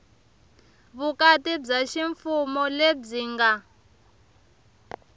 vukati bya ximfumo lebyi nga